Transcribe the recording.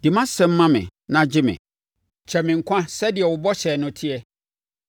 Di mʼasɛm ma me na gye me. Kyɛe me nkwa so sɛdeɛ wo bɔhyɛ no teɛ.